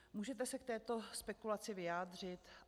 Můžete se k této spekulaci vyjádřit?